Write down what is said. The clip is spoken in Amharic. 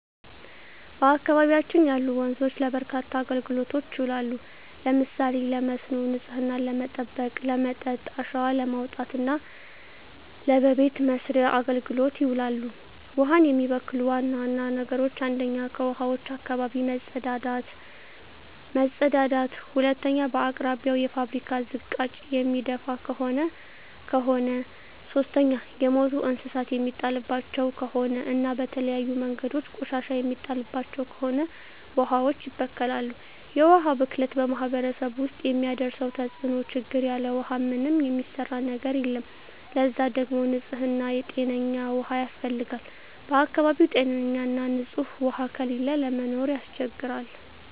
በአካባቢያችን ያሉ ወንዞች ለበርካታ አገልግሎቶች ይውላሉ። ለምሳሌ ለመስኖ፣ ንጽህናን ለመጠበቅ፣ ለመጠጥ፣ አሸዋ ለማውጣት እና ለበቤት መሥርያ አገልግሎት ይውላሉ። ውሀን የሚበክሉ ዋና ዋና ነገሮች 1ኛ ከውሀዋች አካባቢ መጸዳዳት መጸዳዳት 2ኛ በአቅራቢያው የፋብሪካ ዝቃጭ የሚደፍ ከሆነ ከሆነ 3ኛ የሞቱ እንስሳት የሚጣልባቸው ከሆነ እና በተለያዩ መንገዶች ቆሻሻ የሚጣልባቸው ከሆነ ውሀዋች ይበከላሉ። የውሀ ብክለት በማህረሰቡ ውስጥ የሚያደርሰው ተጽዕኖ (ችግር) ያለ ውሃ ምንም የሚሰራ ነገር የለም ለዛ ደግሞ ንጽህና ጤነኛ ውሃ ያስፈልጋል በአካባቢው ጤነኛ ና ንጽህ ውሃ ከሌለ ለመኖር ያስቸግራል።